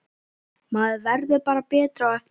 Maður verður bara betri á eftir.